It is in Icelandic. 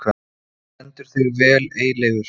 Þú stendur þig vel, Eyleifur!